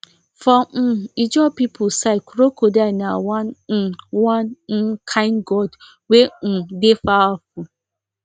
for um ijaw people side crocodile na one um one um kind gods wey um dey powerful